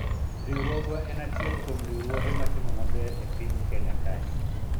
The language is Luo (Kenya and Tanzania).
riwruogwa en achiel kuom riwruoge matimo maber e piny Kenya kae